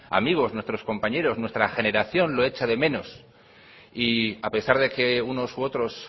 amigos nuestros compañeros nuestra generación lo echa de menos y a pesar de que unos u otros